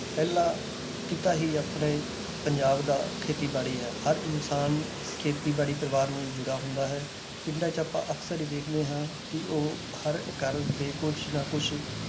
ਪਹਿਲਾ ਕਿੱਤਾ ਹੀ ਆਪਣੇ ਪੰਜਾਬ ਦਾ ਖੇਤੀਬਾੜੀ ਹੈ ਹਰ ਇਨਸਾਨ ਖੇਤੀਬਾੜੀ ਪਰਿਵਾਰ ਨਾਲ ਜੁੜਾ ਹੁੰਦਾ ਹੈ ਪਿੰਡਾਂ 'ਚ ਆਪਾਂ ਅਕਸਰ ਹੀ ਦੇਖਦੇ ਹਾਂ ਕਿ ਉਹ ਹਰ ਘਰ ਦੇ ਕੁਛ ਨਾ ਕੁਛ